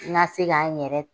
N ka se k'an n yɛrɛ